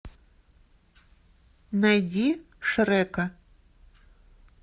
найди шрека